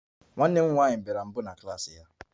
Nwa m nwanyị bịara mbụ n'ule klas ya